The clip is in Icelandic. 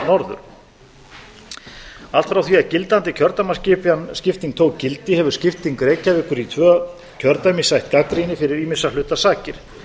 norður allt frá því að gildandi kjördæmaskipting tók gildi hefur skipting reykjavíkur í tvö kjördæmi sætt gagnrýni fyrir ýmissa hluta sakir